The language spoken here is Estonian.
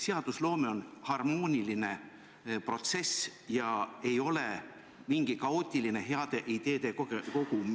Seadusloome on harmooniline protsess, see ei ole mingi kaootiline heade ideede kogum.